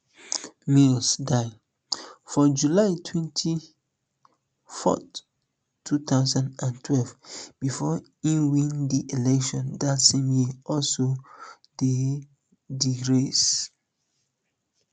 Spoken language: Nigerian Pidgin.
mills die for july twenty-fourth two thousand and twelve before e win di election dat same year also dey di race